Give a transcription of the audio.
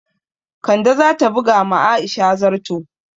Kande za ta buga ma Aisha zarto